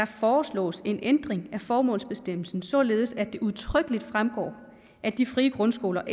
foreslås en ændring af formålsbestemmelsen således at det udtrykkelig fremgår at de frie grundskoler